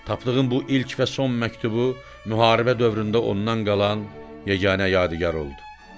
Tapdığı bu ilk və son məktubu müharibə dövründə ondan qalan yeganə yadigar oldu.